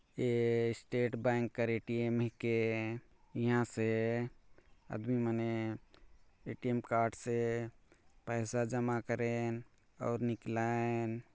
ये state bank कर A T M हे के इहाँ से आदमी मन ए टी एम कार्ड से पईसा जमा करेन और निकलाएन ।